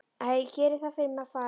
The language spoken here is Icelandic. Æ, gerið það fyrir mig að fara.